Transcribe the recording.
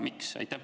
Miks?